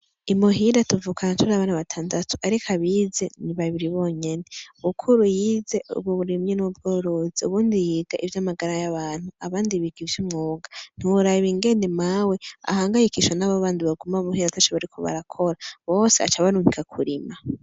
Imuhira tuvukana turi abana batandatu ariko abize ni babiri bonyene mukuru yize uburimyi n'ubworozi uwundi yiga ivyamagara y'abantu abandi biga ivyumwuga ntiworaba ingene mawe ahangayikishwa nabo baguma muhira ataco bariko barakora bose aca abarungika kurima.